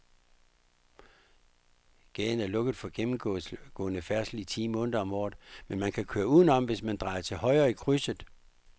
Gaden er lukket for gennemgående færdsel ti måneder om året, men man kan køre udenom, hvis man drejer til højre i krydset.